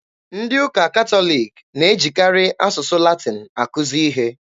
Ndị ụka Catholic na-ejikarị asụsụ Latin akuzi ihe.